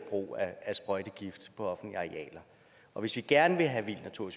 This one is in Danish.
sprøjtegift på offentlige arealer og hvis vi gerne vil have vild natur